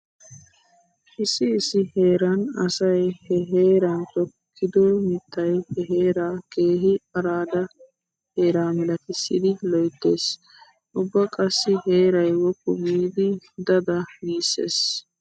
Issi issi heeran asay he heeran tokkido mittay he heeraa keehi aradda heera milatissidi loyttees. Ubba qassi heeray woppu giidi da da giissees.